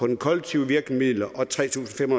de kollektive virkemidler og tre tusind fem